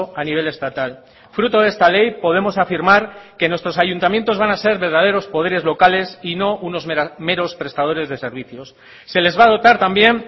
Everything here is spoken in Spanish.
a nivel estatal fruto de esta ley podemos afirmar que nuestros ayuntamientos van a ser verdaderos poderes locales y no unos meros prestadores de servicios se les va a dotar también